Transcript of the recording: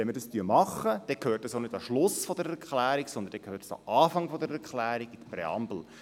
Wenn wir dies tun, gehört es auch nicht an den Schluss der Erklärung, sondern an den Anfang, in die Präambel.